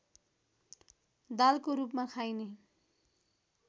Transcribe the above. दालको रूपमा खाइने